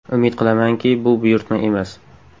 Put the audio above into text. Umid qilamanki, bu buyurtma emas.